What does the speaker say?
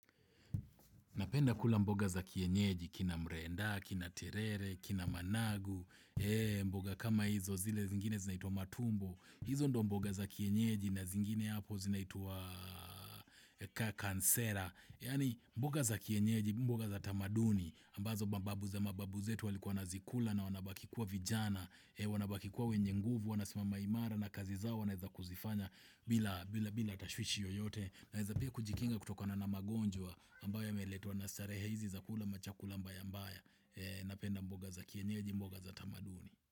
Napenda kula mboga za kienyeji, kina mrenda, kina terere, kina managu, mboga kama hizo zile zingine zinaitwa matumbo, hizo ndo mboga za kienyeji na zingine hapo zinaitwa kakansera, yani mboga za kienyeji, mboga za tamaduni, ambazo mababu za mababu zetu walikuwa wanazikula na wanabaki kuwa vijana, wanabaki kuwa wenye nguvu, wanasimama imara na kazi zao wanaeza kuzifanya bila bila tashwishi yoyote, Naeza pia kujikinga kutokona na magonjwa ambayo yameletwa na starehe hizi za kula machakula mbayambaya Napenda mboga za kienyeji mboga za tamaduni.